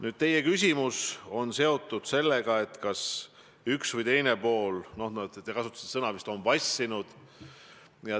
Nüüd, teie küsimus on seotud sellega, kas üks või teine pool on vassinud – te vist kasutasite sellist sõna.